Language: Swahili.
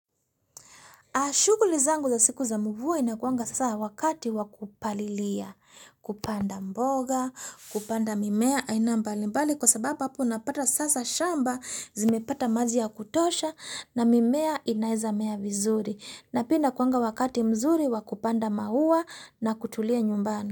A shukuli zangu za siku za mvua inakuanga sasa wakati wa kupalilia, kupanda mboga, kupanda mimea, aina mbalimbali kwa sababu hapo napata sasa shamba zimepata maji ya kutosha na mimea inaeza mea vizuri. Na pia inakuanga wakati mzuri wa kupanda maua na kutulia nyumbani.